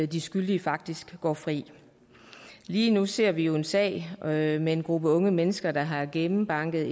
de skyldige faktisk går fri lige nu ser vi jo en sag med en en gruppe unge mennesker der har gennembanket